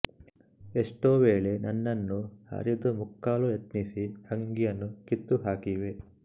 ಎಷ್ಟೋ ವೇಳೆ ನನ್ನನ್ನು ಹರಿದು ಮುಕ್ಕಲು ಯತ್ನಿಸಿ ಅಂಗಿಯನ್ನು ಕಿತ್ತುಹಾಕಿವೆ